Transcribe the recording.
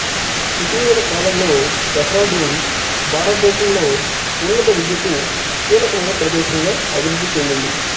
ఇటీవలి కాలంలో డెహ్రాడూన్ భారతదేశంలో ఉన్నత విద్యకు కీలకమైన ప్రదేశంగా అభివృద్ధి చెందింది